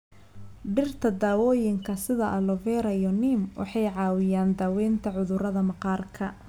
Dhirta dawooyinka sida aloe vera iyo neem waxay caawiyaan daawaynta cudurrada maqaarka.